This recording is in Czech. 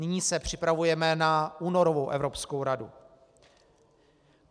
Nyní se připravujeme na únorovou Evropskou radu.